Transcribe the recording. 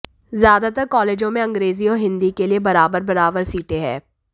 ज्यादातर कॉलेजों में अंग्रेजी और हिन्दी के लिए बराबर बराबर सीटे हैं